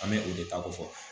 An bɛ o de ta ko fɔ